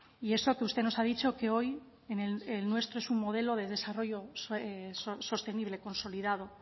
y eso que usted nos ha dicho que hoy el nuestro es un modelo de desarrollo sostenible consolidado